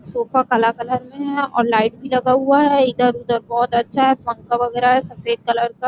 sofa काला colour में है और लाइट भी लगा हुआ है इधर-उधर बहुत अच्छा है पंका वगैरह है सफेद कलर में --